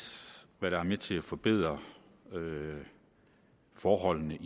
hvad der er med til at forbedre forholdene